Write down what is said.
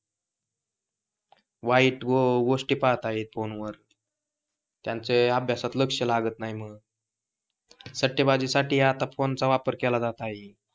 वाईट गोष्टी पाहतायत फोनवर त्यांच अभ्यासात लक्ष लागत नाही म्हणून सट्टाबाजीसाठी आता फोनचा वापर केला जात आहे